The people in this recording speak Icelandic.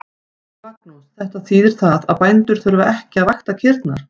Magnús: Þetta þýðir það að bændur þurfa ekki að vakta kýrnar?